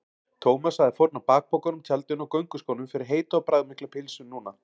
Thomas hefði fórnað bakpokanum, tjaldinu og gönguskónum fyrir heita og bragðmikla pylsu núna.